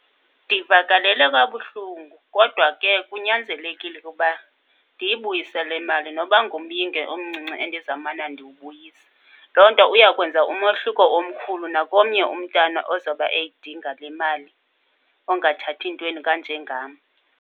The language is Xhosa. Ndivakalelwe kabuhlungu kodwa ke kunyanzelekile ukuba ndiyibuyisele imali noba ngumyinge omncinci endizawumana ndiwubuyisa. Loo nto uyakwenza umohluko omkhulu nakomnye umntana ozoba eyidinga le mali, ongathathi ntweni kanje ngam.